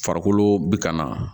Farikolo bɛ ka na